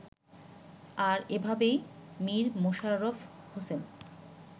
আর এভাবেই মীর মশাররফ হোসেন